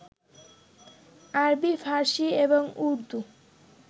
আরবী, ফার্সী এবং উর্দু